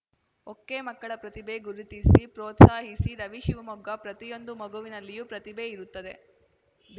ಒಕೆಮಕ್ಕಳ ಪ್ರತಿಭೆ ಗುರುತಿಸಿ ಪ್ರೋತ್ಸಾಹಿಸಿ ರವಿ ಶಿವಮೊಗ್ಗ ಪ್ರತಿಯೊಂದು ಮಗುವಿನಲ್ಲಿಯೂ ಪ್ರತಿಭೆ ಇರುತ್ತದೆ